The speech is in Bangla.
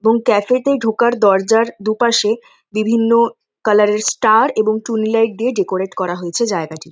এবং ক্যাফেতে ঢোকার দরজার দুপাশে বিভিন্ন কার্লার -এর স্টার এবং টুনি লাইট দিয়ে ডেকোরেট করা হয়েছে জায়গাটি ।